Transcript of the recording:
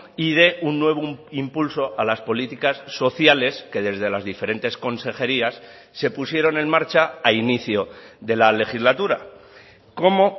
y dé un nuevo impulso a las políticas sociales que desde las diferentes consejerías se pusieron en marcha a inicio de la legislatura como